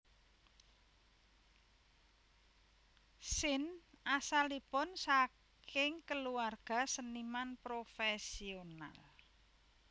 Sin asalipun sakingi keluarga seniman profesional